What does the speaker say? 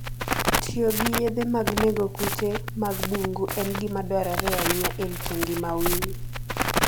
Tiyo gi yedhe mag nego kute mag bungu en gima dwarore ahinya e rito ngima winy.